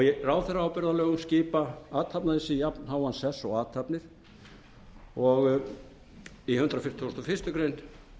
í ráðherraábyrgðarlögum skipar athafnaleysi jafnháan sess og athafnir í hundrað fimmtíu og eina grein